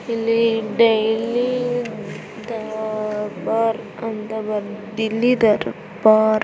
ಇಲ್ಲಿ ಡೆಲ್ಲಿ ದರ್ಬಾರ್ ಅಂತ ಬರೆದಿ ಡೆಲ್ಲಿ ದರ್ಬಾರ್.